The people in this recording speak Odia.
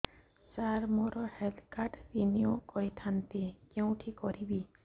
ସାର ମୋର ହେଲ୍ଥ କାର୍ଡ ରିନିଓ କରିଥାନ୍ତି କେଉଁଠି କରିବି